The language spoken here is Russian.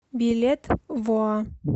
билет воа